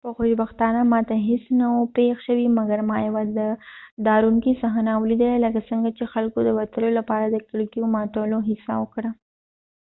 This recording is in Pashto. په خوشبختانه ما ته هیڅ نه و پیښ شوي مګر ما یوه ډارونکی صحنه ولیدله لکه څنګه چې خلکو د وتلو لپاره کړکیو ماتولو هڅه وکړه